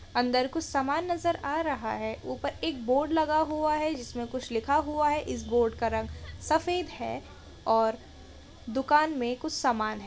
अंदर कुछ सामान नजर आ रहा है ऊपर एक बोर्ड लगा हुआ है जिसमें कुछ लिखा हुआ है इस बोर्ड का रंग सफेद है और दुकान में कुछ सामान हैं।